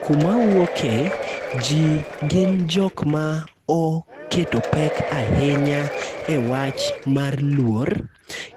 Kuma awuoke ji gin jok ma oketo pek ahinya e wach mar luor,